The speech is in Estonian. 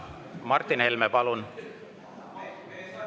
Martin Helme, palun!